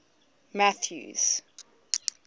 mathews